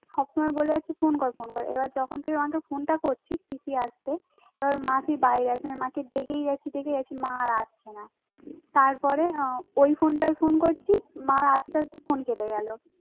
সব সময় বলে যাচ্ছে ফোন কর ফোন কর এবার যখন তুই আমাকে ফোনটা করছিস পিসি আসছে তখন মাসির বাইরে যাচ্ছি মাসি ডেকেই যাচ্ছে দেখেই যাচ্ছে মা আর আসছে না তারপরে ওই ফোনটায় ফোন করছি মায়ের আস্তে আস্তে ফোন কেটে গেল